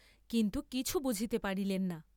কিন্তু কিছু বুঝিতে পারিলেন না।